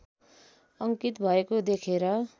अङ्कित भएको देखेर